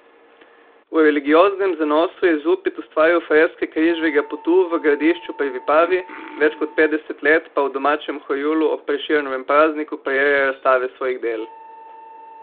V religioznem zanosu je Zupet ustvaril freske Križevega potu v Gradišču pri Vipavi, več kot petdeset let pa v domačem Horjulu ob Prešernovem prazniku prireja razstave svojih del.